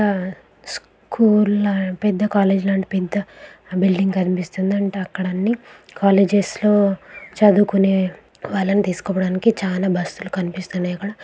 School లో పెద్ద college పెద్ద బిల్డింగ్ అనిపిస్తుందంటే.అక్కడ అన్ని కాలేజ్ లో చదువుకునే వాళ్ళని తీసుకోవడానికి చాలా బస్సులు కనిపిస్తున్నాయి అక్కడ.